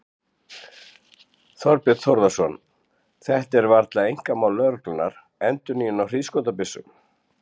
Þorbjörn Þórðarson: Þetta er varla einkamál lögreglunnar, endurnýjun á hríðskotabyssum?